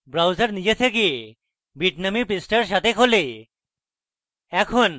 browser নিজে থেকে bitnami পৃষ্ঠার সাথে খোলে